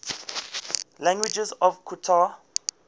languages of qatar